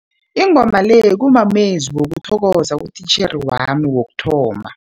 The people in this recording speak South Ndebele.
Ingoma le kumamezwi wokuthokoza utitjhere wami wokuthoma.